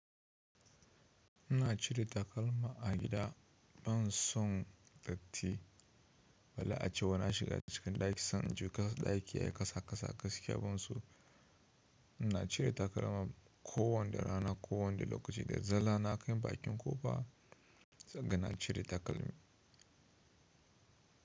Ina cire takalma a gida ban son datti, balle a cewa na shiga cikin ɗaki sanan in ji ɗaki ya yi kasa kasa gaskiya bana so. Ina cire takalma ko wane rana, ko wadda lokaci, da daddare na kai bakin ƙofa sai ka ga na cire takalmi.